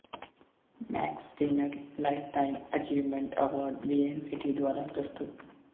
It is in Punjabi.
Max Steiner lifetime achievement award Vienna city ਦੁਆਰਾ ਪ੍ਰਸਤੁਤ